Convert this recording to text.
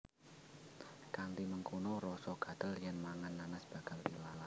Kanthi mengkono rasa gatel yèn mangan nanas bakal ilang